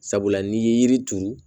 Sabula n'i ye yiri turu